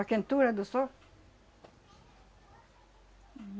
A quentura do sol.